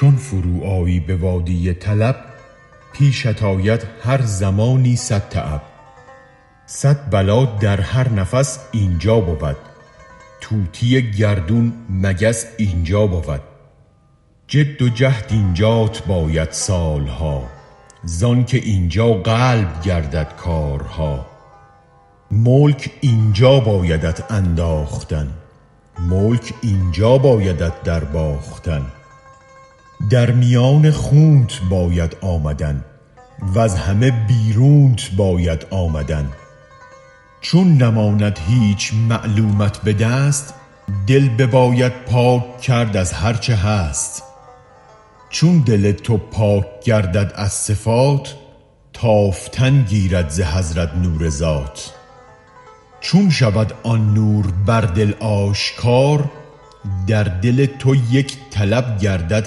چون فرو آیی به وادی طلب پیشت آید هر زمانی صدتعب صد بلا در هر نفس اینجا بود طوطی گردون مگس اینجا بود جد و جهد اینجات باید سال ها زآن که اینجا قلب گردد حال ها ملک اینجا بایدت انداختن ملک اینجا بایدت در باختن در میان خونت باید آمدن وز همه بیرونت باید آمدن چون نماند هیچ معلومت به دست دل بباید پاک کرد از هرچه هست چون دل تو پاک گردد از صفات تافتن گیرد ز حضرت نور ذات چون شود آن نور بر دل آشکار در دل تو یک طلب گردد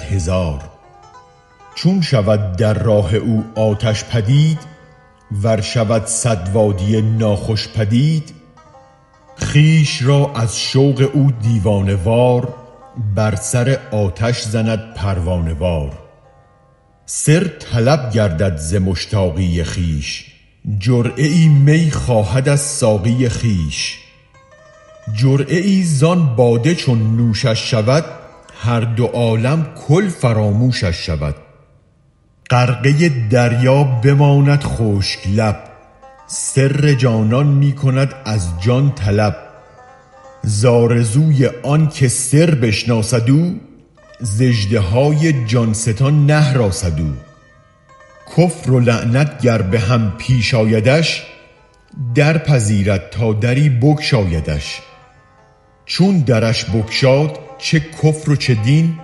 هزار چون شود در راه او آتش پدید ور شود صد وادی ناخوش پدید خویش را از شوق او دیوانه وار بر سر آتش زند پروانه وار سر طلب گردد ز مشتاقی خویش جرعه ای می خواهد از ساقی خویش جرعه ای ز آن باده چون نوشش شود هر دو عالم کل فراموشش شود غرقه دریا بماند خشک لب سر جانان می کند از جان طلب ز آرزوی آن که سربشناسد او ز اژدهای جان ستان نهراسد او کفر و ایمان گر به هم پیش آیدش درپذیرد تا دری بگشایدش چون درش بگشاد چه کفر و چه دین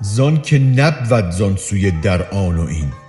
زانک نبود زان سوی در آن و این